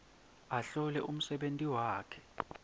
ahlole umsebenti wakhe